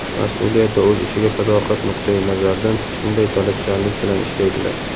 mas’uliyat va o‘z ishiga sadoqat nuqtai nazaridan shunday talabchanlik bilan ishlaydilar.